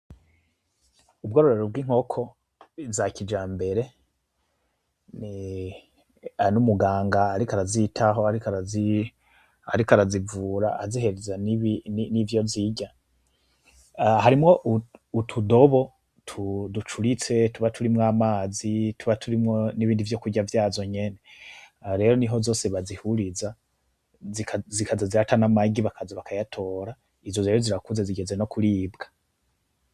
Ubwororero bw'inkoko zakijambere, n'umuganga ariko arazitaho, ariko arazi vura azihereza n'ivyo zirya, harimwo utudobo ducuritse tuba turimwo amazi, tuba turimwo n'ibindi vyokurya vyazo nyene, rero niho zose bazihuriza zikaza zirata n'amagi bakaza bakayatora izo rero zirakuze zigeze nokuribwa.